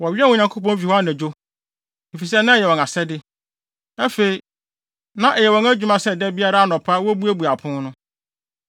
Wɔwɛn Onyankopɔn fi hɔ anadwo, efisɛ na ɛyɛ wɔn asɛde. Afei, na ɛyɛ wɔn adwuma sɛ da biara anɔpa wobuebue apon no.